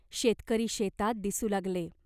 शेतकरी शेतात दिसू लागले.